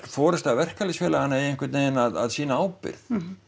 forysta verkalýðsfélaganna eigi einhvern veginn að sýna ábyrgð